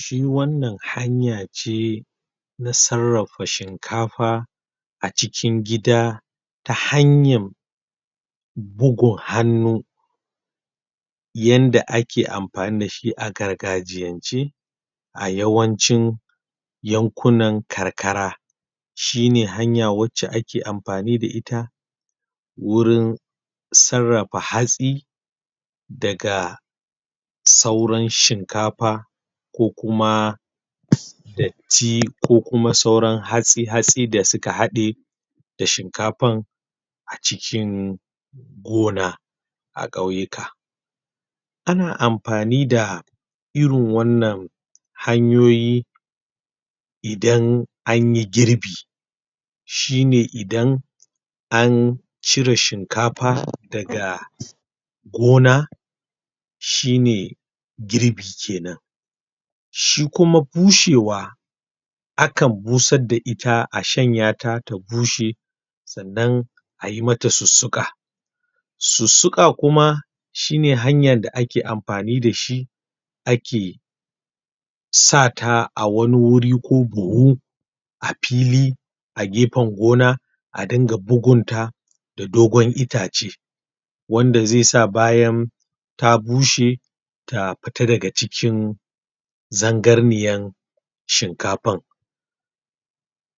Shi wannan hanya ce na sarrafa shinkafa a cikin gida ta hanyan bugun hannu yadda ake amfani da shi a gargajiyance a yawanci yankunan karkara, shi ne hanya wacce ake amfani da ita wurin sarrafa hatsi daga sauran shinkafa, ko kuma datti, ko kuma sauran hatsi hatsi da suka haɗe da shinkafan a cikin gona a ƙauyuka. Ana amfani da irin wannan hanyoyi idan an yi girbi, shi ne idan an cire shinkafa daga gona, shi ne girbi kenan. Shi kuma bushewa, akan busar da ita a shanyata ta bushe, sannan a yi mata sussuka. Sussuka kuma shine hanyar da ake amfani da shi ake sa ta a wani wuri ko buhu, a fili, a gefen gona a dinga bugunta da dogon itace wanda zai sa bayan ta bushe ta fita daga cikin zarganniyar shinkafan.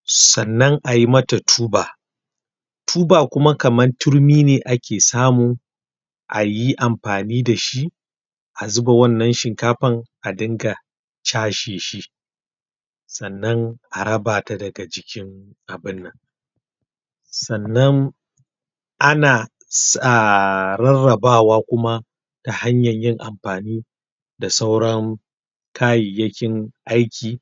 Sannan a yi mata tuba. Tuba kuma kamar turmi ne ake samu a yi amfani da shi, a zuba wannan shinkafar a dinga casheshi, sannan a raba ta daga cikin abunnan. Sannan ana rarrabawa kuma ta hanyar yin amfani da sauran kayayyakin aiki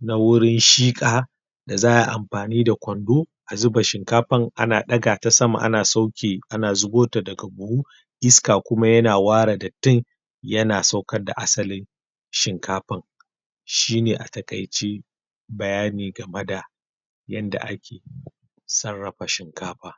na wuri shiƙa da za a yi amfani da kwando a zuba shinkafar, ana ɗaga ta sama ana sauke, ana zubo ta daga buhu, iska kuma yana ware dattin yana saukar da asalin shinkafar. Shine a taƙaice bayani game da yanda ake sarrafa shinkafa.